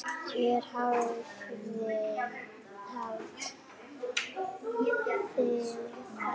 Hér hafið þið þær.